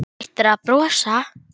Hættir að brosa.